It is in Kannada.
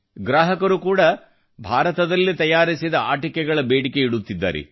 ಗ್ರಾಹಕರು ಕೂಡಾ ಭಾರತದಲ್ಲಿ ತಯಾರಿಸಿದ ಆಟಿಕೆಗಳ ಬೇಡಿಕೆ ಇಡುತ್ತಿದ್ದಾರೆ